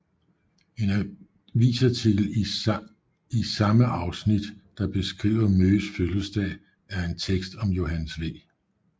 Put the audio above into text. En avisartikel i sammen afsnit der beskriver Møghes fødselsdag er en tekst om Johannes V